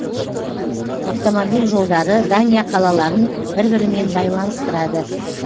автомобиль жолдары дания қалаларын бір бірімен байланыстырады